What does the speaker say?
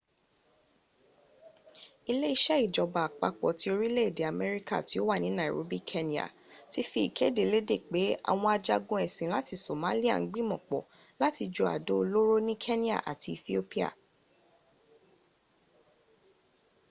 ile ise ijoba apapo ti orile ede amerika ti o wa ni nairobi kenya ti fi ikede lede pe awon ajagun esin lati somalia n gbimopo lati ju ado oloro ni kenya ati ethiopia